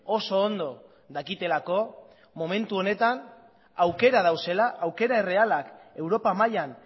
oso ondo dakitelako momentu honetan aukera daudela aukera errealak europa mailan